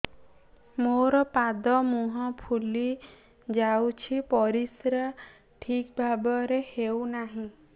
ମୋର ପାଦ ମୁହଁ ଫୁଲି ଯାଉଛି ପରିସ୍ରା ଠିକ୍ ଭାବରେ ହେଉନାହିଁ